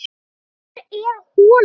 Hvar er holan?